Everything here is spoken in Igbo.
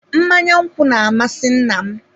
Mmanya nkwụ na-amasị nna m.